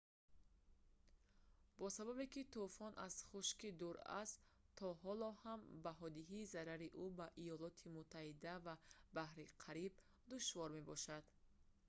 бо сабабе ки тӯфон аз хушкӣ дур аст то ҳоло ҳам баҳодиҳии зарари ӯ ба иёлоти муттаҳида ва баҳри кариб душвор мебошад